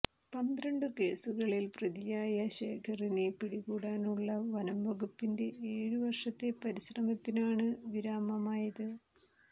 പന്ത്രണ്ടു കേസുകളിൽ പ്രതിയായ ശേഖറിനെ പിടികൂടാനുള്ള വനംവകുപ്പിന്റെ ഏഴു വർഷത്തെ പരിശ്രമത്തിനാണ് വിരാമമായത്